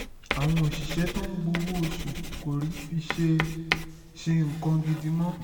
àwọn òṣìṣẹ́ tó ń gbowó oṣù kò rí i fi ṣe ṣe nǹkan gidi mọ́